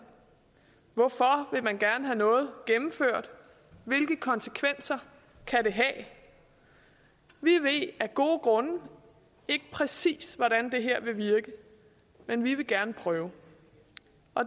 hvorfor vil man gerne have noget gennemført hvilke konsekvenser kan det have vi ved af gode grunde ikke præcis hvordan det her vil virke men vi vil gerne prøve